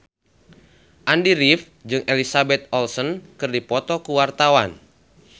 Andy rif jeung Elizabeth Olsen keur dipoto ku wartawan